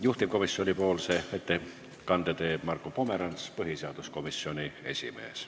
Juhtivkomisjoni ettekande teeb Marko Pomerants, põhiseaduskomisjoni esimees.